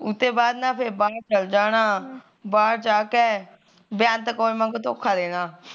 ਉਹਤੇ ਬਾਅਦ ਨਾ ਫਿਰ ਬਾਹਰ ਨੂੰ ਚਲ ਜਾਣਾ ਬਾਹਰ ਜਾਕੇ ਬਿਆਂਤ ਕੌਰ ਵਾਂਗੂ ਧੋਖਾ ਦੇਣਾ